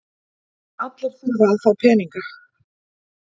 Allir þurfa að fá peninga.